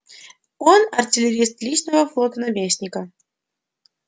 он артиллерист личного флота наместника